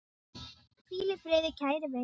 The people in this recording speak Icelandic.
Hvíl í friði kæri vinur.